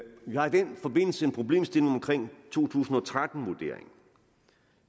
vi har i den forbindelse en problemstilling omkring to tusind og tretten vurderingen